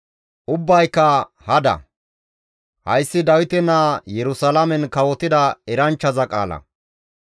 Hayssi Dawite naa Yerusalaamen kawotida eranchchaza qaala.